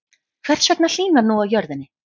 Hvers vegna hlýnar nú á jörðinni?